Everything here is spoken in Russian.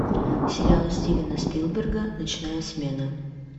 сериал стивена спилберга ночная смена